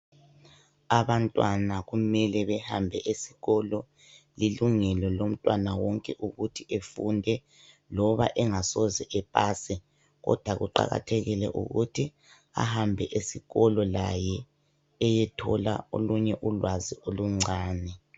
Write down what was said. Abantwana kumele behambe esikolo lilungelo lomntwana onke ukuthi behambe esikolo loba engasoze epase kodwa kuqakathekile ukuthi ahambe esikolo laye eyethola ulwazi oluncane